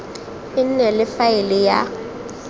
e nne le faele ya